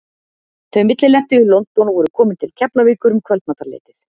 Þau millilentu í London og voru komin til Keflavíkur um kvöldmatarleytið.